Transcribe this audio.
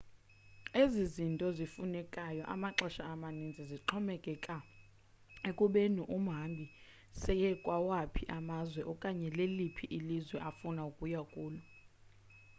ezi zinto zifunekayo amaxesha amaninzi zixhomekeka ekubeni umhambi seye kwawaphi amazwe okanye leliphi ilizwe afuna ukuya kulo